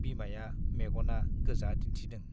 बिमाया मेग'ना गोजा दिन्थिदों ।